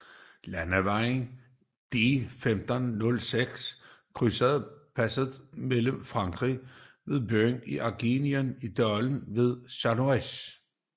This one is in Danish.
Landevejen D1506 krydser passet fra Frankrig ved byen Argentiére i dalen ved Chamonix